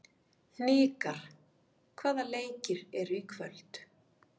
Hnikar, hvaða leikir eru í kvöld?